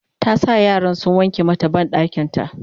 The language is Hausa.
ta sa yaran sun wanke mata banɗakinta